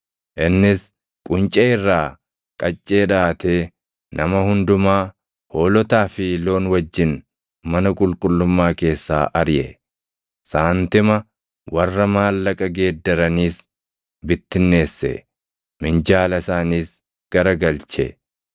Innis quncee irraa qaccee dhaʼatee nama hundumaa hoolotaa fi loon wajjin mana qulqullummaa keessaa ariʼe; saantima warra maallaqa geeddaraniis bittinneesse; minjaala isaaniis garagalche.